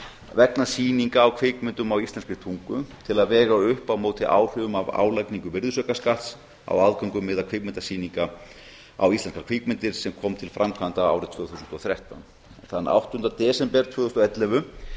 vegna sýninga á kvikmyndum á íslenskri tungu til að vega upp á móti áhrifum af álagningu virðisaukaskatts á aðgöngumiða kvikmyndasýninga á íslenskar kvikmyndir sem kom til framkvæmda árið tvö þúsund og þrettán þann áttunda desember tvö þúsund og ellefu